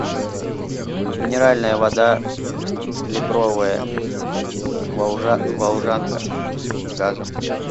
минеральная вода литровая волжанка с газом